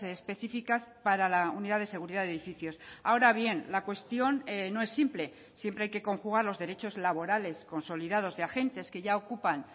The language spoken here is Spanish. específicas para la unidad de seguridad de edificios ahora bien la cuestión no es simple siempre hay que conjugar los derechos laborales consolidados de agentes que ya ocupan